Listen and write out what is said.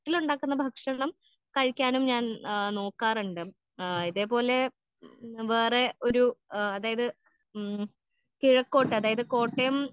വീട്ടിൽ ഉണ്ടാകുന്ന ഭക്ഷണം കഴിക്കാനും ഞാൻ ആ നോക്കാറുണ്ട്. ആ ഇതേപോലെ വേറെ ഒരു ഏഹ് അതായത് ഉം കിഴക്കോട്ട് അതായത് കോട്ടയം.